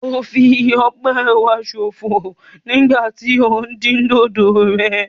O fí ọpẹ wa sọ̀fọ nígbà tí o ń din dódò rẹ